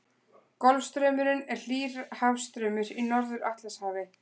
Golfstraumurinn er hlýr hafstraumur í Norður-Atlantshafi.